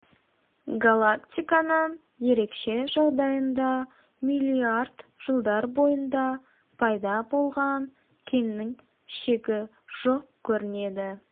галактиканың ерекше жағдайында миллиард жылдар бойында пайда болған кеннің шегі жоқ көрінеді